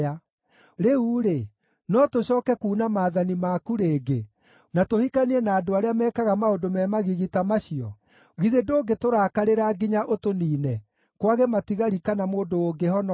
Rĩu-rĩ, no tũcooke kuuna maathani maku rĩngĩ, na tũhikanie na andũ arĩa mekaga maũndũ me magigi ta macio? Githĩ ndũngĩtũrakarĩra nginya ũtũniine, kwage matigari kana mũndũ ũngĩhonoka?